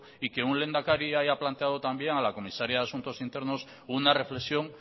y que un lehendakari haya planteado también a la comisaria de asuntos internos una reflexión